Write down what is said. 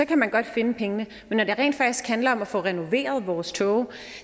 kan man godt finde pengene men når det rent faktisk handler om at få renoveret vores toge